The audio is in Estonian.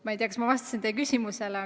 Ma ei tea, kas ma vastasin teie küsimusele.